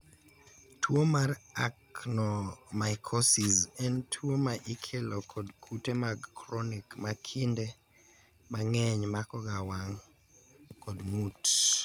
tuo mar Actinomycosis en tuo ma ikelo kod kute mag chronic ma kinde mang'eny mako ga wang' kod ng'ut